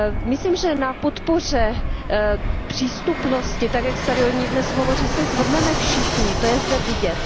Myslím, že na podpoře přístupnosti tak, jak se tady o ní dnes hovoří, se shodneme všichni, to je zde vidět.